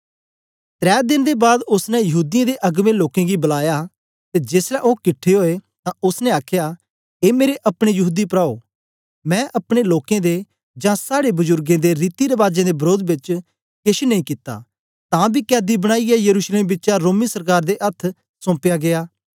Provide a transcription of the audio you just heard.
त्रै देन दे बाद ओसने यहूदीयें दे अगबें लोकें गी बलाया ते जेसलै ओ किटठे ओए तां ओसने आखया ए मेरे अपने यहूदी प्राओ मैं अपने लोकें दे जां साड़े बजुर्गें दे रीति रबाजें दे वरोध बेच केछ नेई कित्ता तां बी कैदी बनाईयै यरूशलेम बिचा रोमीं सरकार दे अथ्थ सोंपया गीया